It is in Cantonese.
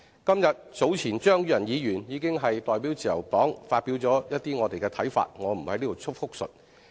張宇人議員今天早前已代表自由黨發表了一些看法，我不在此複述。